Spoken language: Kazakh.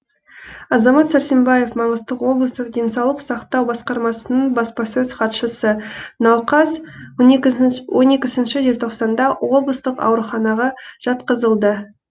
азамат сәрсенбаев маңғыстау облыстық денсаулық сақтау басқармасының баспасөз хатшысы науқас он екінші желтоқсанда облыстық ауруханаға жатқызылды